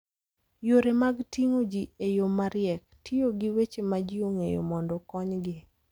Yore mag ting'o ji e yo mariek, tiyo gi weche ma ji ong'eyo mondo okonygi.